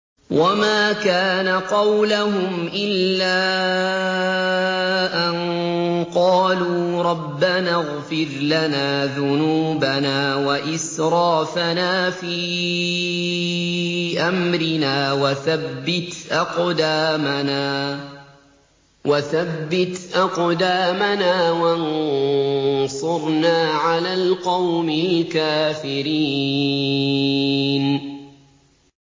وَمَا كَانَ قَوْلَهُمْ إِلَّا أَن قَالُوا رَبَّنَا اغْفِرْ لَنَا ذُنُوبَنَا وَإِسْرَافَنَا فِي أَمْرِنَا وَثَبِّتْ أَقْدَامَنَا وَانصُرْنَا عَلَى الْقَوْمِ الْكَافِرِينَ